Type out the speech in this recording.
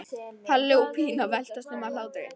Palli og Pína veltast um af hlátri.